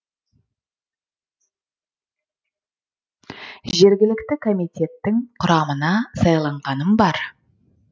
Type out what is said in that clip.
жергілікті комитеттің құрамына сайланғаным бар